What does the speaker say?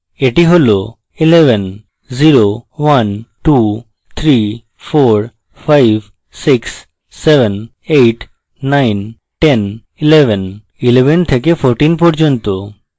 এটি হল 110 1 2 3 4 5 6 7 8 9 10 1111 থেকে 14 পর্যন্ত